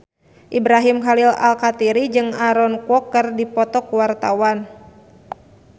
Ibrahim Khalil Alkatiri jeung Aaron Kwok keur dipoto ku wartawan